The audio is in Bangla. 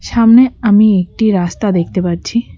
সামনে আমি একটি রাস্তা দেখতে পারছি।